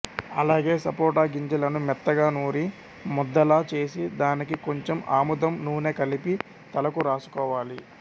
అలాగే సపోటా గింజలను మెత్తగా నూరి ముద్దలా చేసి దానికి కొంచెం ఆముదం నూనె కలిపి తలకు రాసుకోవాలి